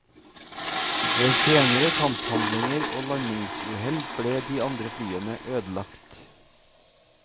Ved senere kamphandlinger og landingsuhell ble de andre flyene ødelagt.